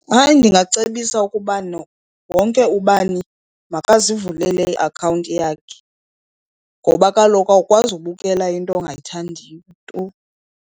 Hayi, ndingacebisa ukuba wonke ubani makazivulele iakhawunti yakhe ngoba kaloku awukwazi ubukela into ongayithandiyo tu.